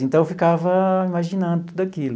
Então, eu ficava imaginando tudo aquilo.